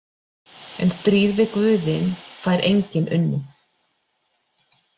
En stríð við guðin fær enginn unnið.